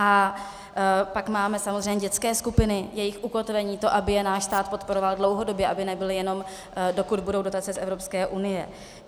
A pak máme samozřejmě dětské skupiny, jejich ukotvení, to, aby je náš stát podporoval dlouhodobě, aby nebyly jenom, dokud budou dotace z Evropské unie.